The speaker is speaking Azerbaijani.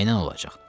Nəylə olacaq?